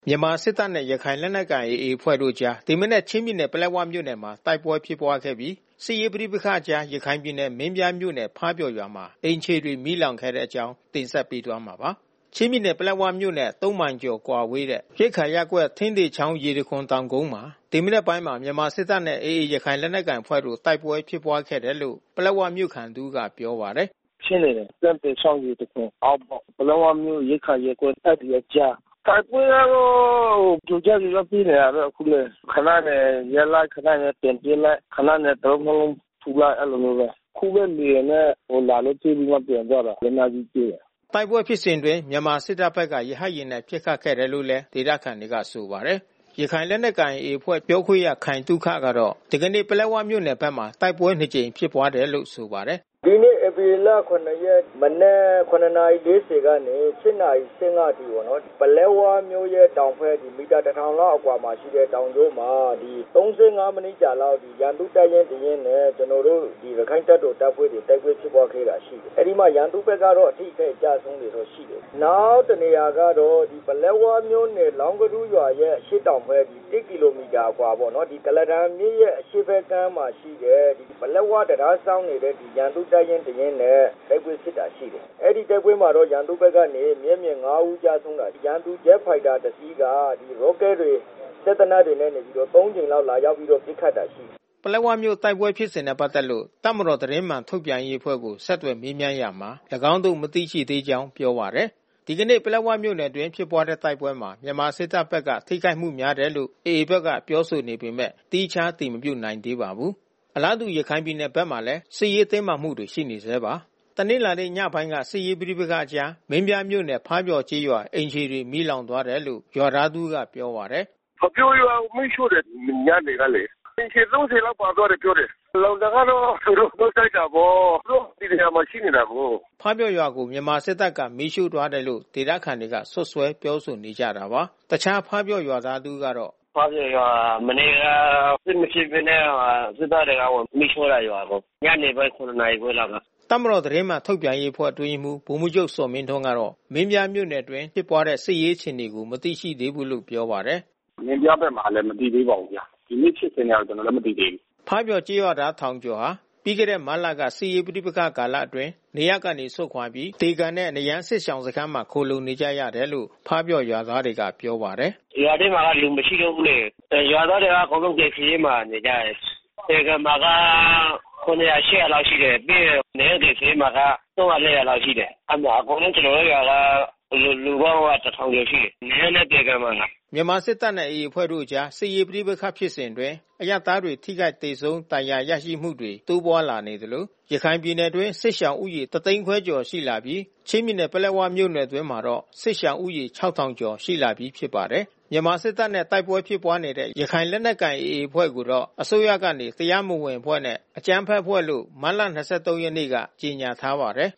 မြန်မာစစ်တပ်နဲ့ ရခိုင်လက်နက်ကိုင် AA အဖွဲ့တို့အကြား ဒီမနက်ချင်းပြည်နယ် ပလက်ဝမြို့မှာ တိုက်ပွဲဖြစ်ပွားခဲ့ပြီး စစ်ရေးပဋိပက္ခအကြား ရခိုင်ပြည်နယ် မင်းပြားမြို့နယ်ဖါးပျော်ရွာမှာ အိမ်ခြေ မီးလောင်ခဲ့တဲ့အကြောင်း ဗွီအိုအေ မြန်မာပိုင်းသတင်းထောက် ကိုနိုင်ကွန်းအိန်က တင်ဆက်ပေးသွားမှာပါ။ ချင်းပြည်နယ် ပလက်ဝမြို့နဲ့ ၃ မိုင်ကျော်ကွာဝေးတဲ့ ရိက္ခာရပ်ကွက် ထင်းသေချောင်းရေတံခွန်တောင်ကုန်းမှာ ဒီမနက်ပိုင်းမှာ မြန်မာစစ်တပ်နဲ့ AA ရခိုင်လက်နက်ကိုင်အဖွဲ့တို့ တိုက်ပွဲဖြစ်ပွားခဲ့တယ်လို့ ပလက်ဝမြို့ခံ တဦးက ပြောပါတယ်။ “ဖြစ်နေတယ်။ ထင်းသေချောင်း ရေတံခွန်အောက်ပေါ့။ ပလက်ဝမြို့ ရိက္ခာရပ်ကွက် အဲဒီအကြား။ တိုက်ပွဲကတော့ကြိုကြား ကြိုကြားဖြစ်နေတယ်အခုလည်း။ ခဏနေရပ်လိုက်၊ ခဏနေပြန်ပစ်လိုက်၊ ခဏနေတလုံးနှစ်လုံးထုလိုက် အဲဒီလိုမျိုးပဲ။ အခုပဲ လေယာဉ်နဲ့ လာလို့ပစ်ပြီးတော့ပြန်သွားတယ်။ လက်နက်ကြီး ပစ်တယ်။” တိုက်ပွဲဖြစ်စဉ်အတွင်း မြန်မာစစ်တပ်ဘက်က ရဟတ်ယာဉ်နဲ့ ပစ်ခတ်ခဲ့တယ်လို့ ဒေသခံတွေကဆိုပါတယ်။ ရခိုင်လက်နက်ကိုင် AA အဖွဲ့ပြောခွင့်ရခိုင်သုခကတော့ ဒီကနေ့ ပလက်ဝမြို့နယ်ဘက်မှာ တိုက်ပွဲနှစ်ကြိမ်ဖြစ်ပွားတယ်လို့ ဆိုပါတယ်။ “ဒီနေ့ဧပြီလ ၇ ရက် မနက် ၇ နာရီ ၄၀ ကနေ ၈ နာရီ ၁၅ အထိပေါ့နော်။ ပလက်ဝမြို့ရဲ့တောင်ဘက် မီတာ ၁,၀၀၀ လောက်အကွာမှာ ရှိတဲ့ တောင်ကုန်းမှာ ၃၅ မိနစ်အကြာလောက် ရန်သူ့တပ်ရင်းတရင်းနဲ့ ကျနော်တို့ ရခိုင်တပ်တော်တပ်ဖွဲ့တွေ တိုက်ပွဲဖြစ်ပွားခဲ့တာ ရှိတယ်။ အဲဒီမှာရန်သူဘက်ကတော့ အထိခိုက်အကျဆုံးတွေ ရှိတယ်။ နောက်တနေရာက တော့ ပလက်ဝမြို့နယ် လောင်းကဒူးရွာရဲ့အရှေ့တောင်ဘက် ၁ ကီလိုမီတာအကွာပေါ့နော်။ ကုလားတန်မြစ်ရဲ့အရှေ့ဘက် ကမ်းမှာရှိတဲ့ ပလက်၀ တံတားစောင့်နေတဲ့ ရန်သူတပ်ရင်းတရင်းနဲ့ တိုက်ပွဲဖြစ်တာ ရှိတယ်။ အဲဒီတိုက်ပွဲမှာတော့ ရန်သူ ဘက်က မျက်မြင် ၅ ဦးကျဆုံးတာ ရှိတယ်။ ရန်သူဂျက်ဖိုက်တာတစီးက ရော့ကက်တွေ စက်သေနတ်တွေနဲ့ ၃ ကြိမ်လောက် လာရောက်ပစ်ခတ်တာ ရှိတယ်။” ပလက်ဝမြို့ တိုက်ပွဲဖြစ်စဉ်နဲ့ ပတ်သက်လို့ တပ်မတော်သတင်းမှန်ထုတ်ပြန်ရေးအဖွဲ့ကို ဆက်သွယ်မေးမြန်းရာမှာ ၎င်းတို့ မသိရှိသေးကြောင်း ပြောပါတယ်။ ဒီကနေ့ ပလက်ဝမြို့နယ်အတွင်း ဖြစ်ပွားတဲ့ တိုက်ပွဲမှာ မြန်မာစစ်တပ်ဘက်က ထိခိုက်မှုများတယ်လို့ AA ဘက်ကပြောဆိုနေပေမဲ့ သီးခြား အတည်မပြုနိုင်သေးပါဘူး။ အလားတူ ရခိုင်ပြည်နယ်ဘက်မှာလည်း စစ်ရေးတင်းမာမှုတွေ ရှိနေဆဲပါ။ တနလာၤနေ့ညပိုင်းမှာ စစ်ရေးပဋိပက္ခအကြား မင်းပြားမြို့နယ်ဖါးပျော်ကျေးရွာ အိမ်ခြေတွေမီးလောင်သွားတယ်လို့ ရွာခံ တဦးကပြောပါတယ်။ “ဖါးပျော်ရွာကို မီးရှှို့တယ်။ ညနေကလေ။ အိမ်ခြေ ၃၀ လောက်ပါသွားတယ်လို့ပြောတယ်။ လောင်တာကတော့ သူတို့ ရှှို့တိုက်တာပေါ့။ သူတို့ဒီနေရာမှာ ရှိနေတာကိုး။” ဖါးပျော်ကျေးရွာကို မြန်မာစစ်တပ်ကမီးရှှို့သွားတယ်လို့ ဒေသခံတွေက စွတ်စွဲပြောဆိုနေကြတာပါ။ တခြားဖါးပျော်ရွာသားတဦးကတော့ “ဖါးပျော်ရွာကို မနေ့က စစ်မဖြစ်ဘဲနဲ့ စစ်တပ်က မီးရှှို့လိုက်တယ်ရွာကို။ ညနေပိုင်း ၇ နာရီခွဲလောက်က။” တပ်မတော်သတင်းမှန် ထုတ်ပြန်ရေးအဖွဲ့ အတွင်းရေးမှူးဗိုလ်မှူးချုပ်ဇော်မင်းထွန်းကတော့ မင်းပြားမြို့နယ်အတွင်း ဖြစ်ပွားနေတဲ့ စစ်ရေးအခြေအနေကို မသိရှိသေးဘူးလို့ပြောပါတယ်။ “မင်းပြားဘက်မှာလည်းမသိသေးပါဘူးဗျာ။ ဒီနေ့ဖြစ်စဉ်က ကျနော်လည်း မသိသေးဘူး။” ဖါးပျော်ကျေးရွာသားထောင်ကျော်ဟာ ပြီးခဲ့တဲ့မတ်လက စစ်ရေးပဋိပက္ခကာလအတွင်း နေရပ်ကနေစွန့်ခွာပြီး သေကန်နဲ့ နရမ်းစစ်ရှောင်စခန်းမှာ ခိုလှုံနေကြရတယ်လို့ ဖါးပျော်ရွာသားတွေကပြောပါတယ်။ “ရွာထဲမှာက လူမရှိတော့ဘူးလေ။ ရွာသားတွေက အကုန်လုံး ကယ်ဆယ်ရေးမှာနေကြတယ်။ သေကန်မှာက ၇၀၀၊ ၈၀၀ လောက်ရှိတယ်။ ပြီးရင် နရမ်းကယ်ဆယ်ရေးမှာက ၃၀၀၊ ၄၀၀ ရှိတယ်။ အကုန်လုံးကျနော်တို့ရွာက လူပေါင်းက ၁,၀၀၀ ကျော်လောက်ရှိတယ်။ နရမ်းနဲ့သေကန်မှာ။” မြန်မာစစ်တပ်နဲ့ တိုက်ပွဲဖြစ်ပွားနေတဲ့ ရခိုင်လက်နက်ကိုင် AA အဖွဲ့ကိုတော့ အစိုးရကနေ တရားမဝင်အဖွဲ့နဲ့ အကြမ်းဖက် အဖွဲ့လို့ မတ်လ ၂၃ ရက်နေ့က ကြေညာထားပါတယ်